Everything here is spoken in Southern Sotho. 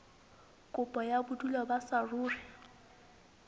kopo ya bodulo ba saruri